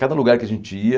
Cada lugar que a gente ia,